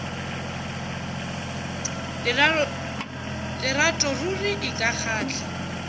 lerato ruri e ka kgahla